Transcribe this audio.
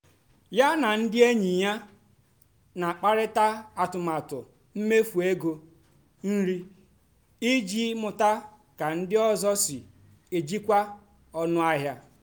yá nà ndí ényì yá nà-àkàparị́tá àtụ́matụ́ mméfú égó nrì ìjì mụ́tá kà ndí ọ́zọ́ sí èjìkwá ónú àhịá.